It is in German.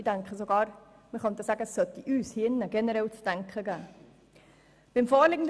Ich denke sogar, dass es uns hier im Saal generell zu denken geben sollte.